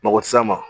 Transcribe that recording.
Mɔgɔ tɛ s'a ma